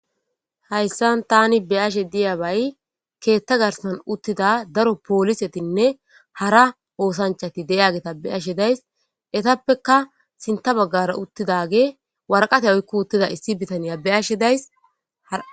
hayssan tani be ashe diyabay keetta garsan uttida daro poolisetinne hara oosanchati deyageta be ashe days etappeka sinta baggara uttidage warqate oykko uttida issi bitaniya be ashe days